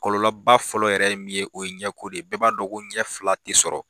Kɔlɔlɔba fɔlɔ yɛrɛ ye min ye o ye ɲɛko de ye bɛɛ b'a dɔn ko ɲɛ fila tɛ sɔrɔ.